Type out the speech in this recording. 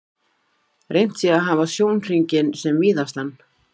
Reynt sé að hafa sjónhringinn sem víðastan.